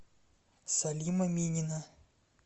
салима минина